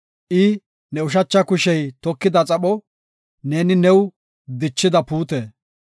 I ne ushacha kushey tokida xapho; neeni new dichida puute.